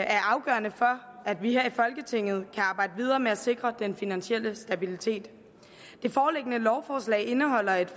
er afgørende for at vi her i folketinget kan arbejde videre med at sikre den finansielle stabilitet det foreliggende lovforslag indeholder et